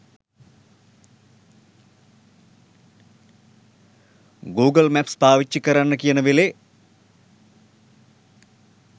Google maps පාවිච්චි කරන්න කියන වෙලේ